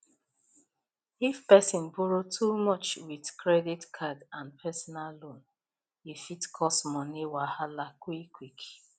if person borrow too much with credit card and personal loan e fit cause money wahala quick quick